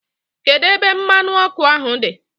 Kedu ebe mmanu oku ahu di?